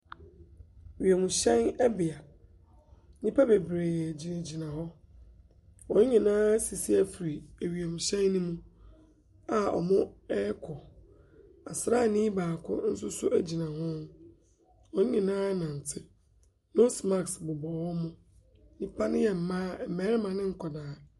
Wiemhyɛn bea. Nnipa bebree gyinagyina hɔ. Wɔn nyinaa asisi afiri ewiemhyɛn no mu a wɔrekɔ. Asraani baako nso so gyina ho. Wɔn nyinaa renante. Nose mask bobɔ wɔn. Nnipa no yɛ mmaa, mmarima ne nkwadaa.